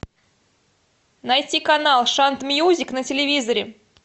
найти канал шант мьюзик на телевизоре